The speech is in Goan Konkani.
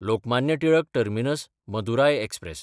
लोकमान्य टिळक टर्मिनस–मदुराय एक्सप्रॅस